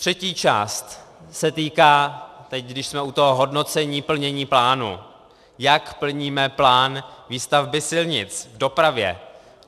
Třetí část se týká, teď když jsme u toho hodnocení, plnění plánu, jak plníme plán výstavby silnic, v dopravě.